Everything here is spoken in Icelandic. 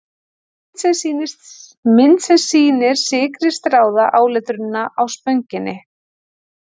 Mynd sem sýnir sykri stráða áletrunina á Spönginni.